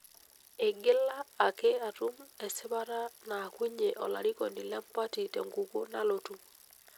Eigila ake atum esipata naakunye olarikoni lempati tenkukuo nalotu.